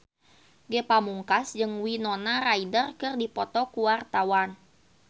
Ge Pamungkas jeung Winona Ryder keur dipoto ku wartawan